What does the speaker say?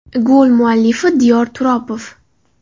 Gol muallifi Diyor Turopov.